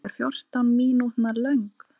Þessi er fjórtán mínútna löng.